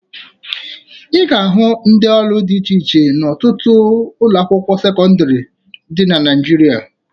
Ị ga-ahụ ndị ọrụ dị iche iche n'ọtụtụ ụlọakwụkwọ sekọndịrị dị na Naịjirịa